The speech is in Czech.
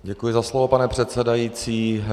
Děkuji za slovo, pane předsedající.